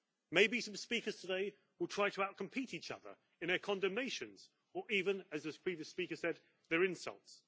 Maybe some speakers today will try to out compete each other in their condemnations, or even as the previous speaker said their insults.